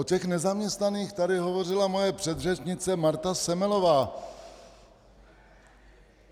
O těch nezaměstnaných tady hovořila moje předřečnice Marta Semelová.